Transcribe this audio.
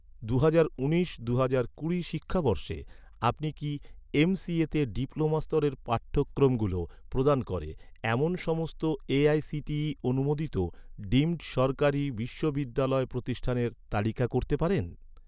দুহাজার উনিশ দুহাজার কুড়ি শিক্ষাবর্ষে, আপনি কি এমসিএতে ডিপ্লোমা স্তরের পাঠক্রমগুলো প্রদান করে, এমন সমস্ত এ.আই.সি.টি.ই অনুমোদিত ডিমড সরকারি বিশ্ববিদ্যালয় প্রতিষ্ঠানের তালিকা করতে পারেন?